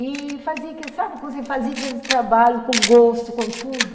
E fazia... Sabe quando você fazia aquele trabalho com gosto, com tudo?